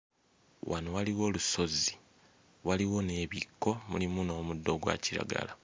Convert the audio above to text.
Wano waliwo olusozi. Waliwo n'ebikko, mulimu n'omuddo ogwa kiragala.